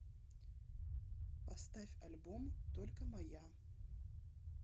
поставь альбом только моя